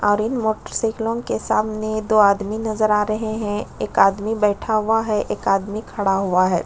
और इन मोटर साइकिलों के सामने दो आदमी नजर आ रहे है एक आदमी बैठा हुआ है एक आदमी खड़ा हुआ हैं।